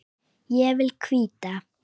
Ég vil hvíta.